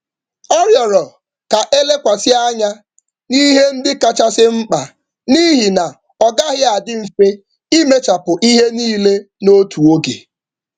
Ọ rịọrọ maka nhazi nke ihe kacha mkpa ebe ọ na-agaghị ekwe omume ịrụcha ihe niile n’otu oge.